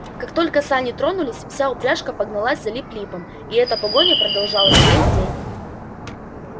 как только сани тронулись вся упряжка погналась за лип липом и эта погоня продолжалась весь день